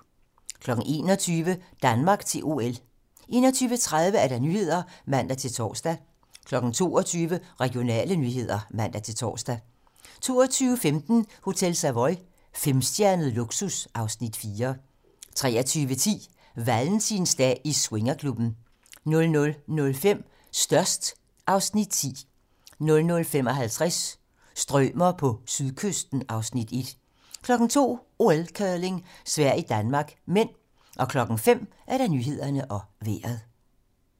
21:00: Danmark til OL 21:30: 21:30 Nyhederne (man-tor) 22:00: Regionale nyheder (man-tor) 22:15: Hotel Savoy - femstjernet luksus (Afs. 4) 23:10: Valentinsdag i swingerklubben 00:05: Størst (Afs. 10) 00:55: Strømer på sydkysten (Afs. 1) 02:00: OL: Curling - Sverige-Danmark (m) 05:00: Nyhederne og Vejret